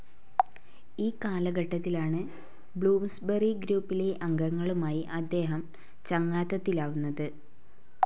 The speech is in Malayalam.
ഈ കാലഘട്ടത്തിലാണ് ബ്ലൂംസ്ബറി ഗ്രൂപ്പിലെ അംഗങ്ങളുമായി അദ്ദേഹം ചങ്ങാതത്തിലാവുന്നത്.